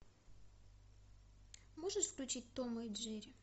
можешь включить тома и джерри